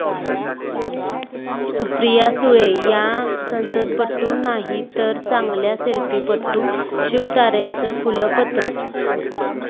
सुप्रिया सुळे या संसदपटू नाहीत तर चांगल्या सेल्फीपटू, शिवतारेंचं खुलं पत्र